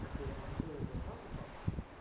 такого оптового закупа